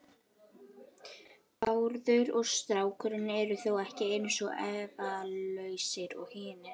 Bárður og strákurinn eru þó ekki eins efalausir og hinir.